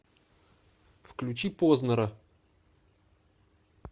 включи познера